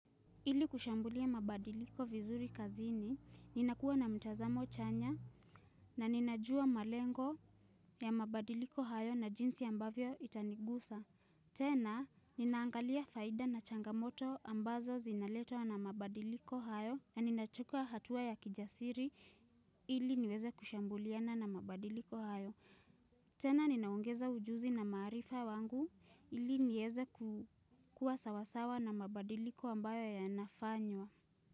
Ili kushambulia mabadiliko vizuri kazini, ninakua na mtazamo chanya na ninajua malengo ya mabadiliko hayo na jinsi ambavyo itanigusa. Tena, ninaangalia faida na changamoto ambazo zinaletwa na mabadiliko hayo na ninachukua hatua ya kijasiri ili niweze kushambuliana na mabadiliko hayo. Tena ninaongeza ujuzi na maarifa wangu ili nieze kukua sawasawa na mabadiliko ambayo yanafanywa.